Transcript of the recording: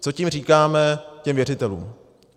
Co tím říkáme těm věřitelům?